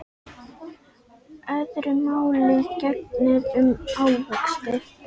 Öðru máli gegnir um ávexti.